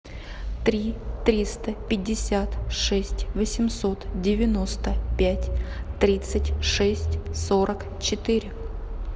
три триста пятьдесят шесть восемьсот девяносто пять тридцать шесть сорок четыре